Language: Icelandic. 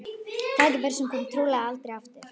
Tækifæri sem komi trúlega aldrei aftur.